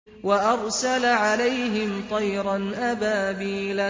وَأَرْسَلَ عَلَيْهِمْ طَيْرًا أَبَابِيلَ